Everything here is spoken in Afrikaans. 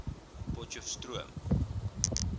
potchestroom